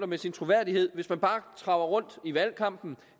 med sin troværdighed hvis man bare traver i valgkampen